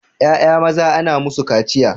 Ƴaƴa maza ana musu kaciya